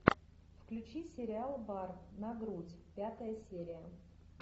включи сериал бар на грудь пятая серия